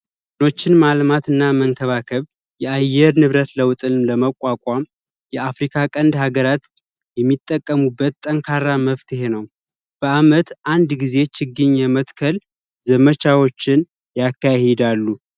ዶችን ማለት እና መንከባከብ የአየር ንብረት ለውጥን ለመቋቋም የአፍሪካ ቀንድ ሀገራት የሚጠቀሙበት ጠንካራ መፍትሄ ነው በአመት አንድ ጊዜ ችግኝ የምትከል ዘመቻዎችን ያካሄዳሉ